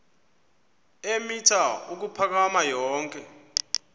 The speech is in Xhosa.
eemitha ukuphakama yonke